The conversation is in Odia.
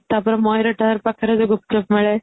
ତା ପରେ ମୟୂରୀ tower ପାଖରେ ଯଉ ଗୁପ୍ଚୁପ ମିଳେ